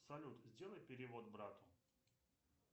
салют сделай перевод брату